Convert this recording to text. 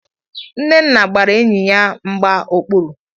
Nnenna gbara enyi ya mgba okpuru.